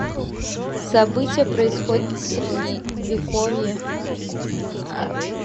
события происходят в средневековье